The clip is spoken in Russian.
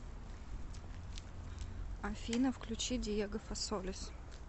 афина включи диего фасолис